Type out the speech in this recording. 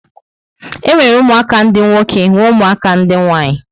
E nwere ụmụaka dị nwoke nwe ụmụaka ndị nwanyị